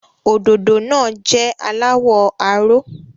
Òdòdó náà jẹ́ aláwọ̀ aró.